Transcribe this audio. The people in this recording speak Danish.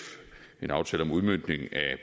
en aftale om udmøntning af